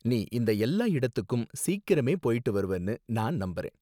நீ இந்த எல்லா இடத்துக்கும் சீக்கிரமே போயிட்டு வருவனு நான் நம்பறேன்.